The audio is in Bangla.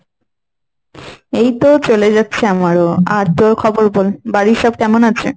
এইতো চলে যাচ্ছে আমারও। আর তোর খবর বল, বাড়ির সব কেমন আছে?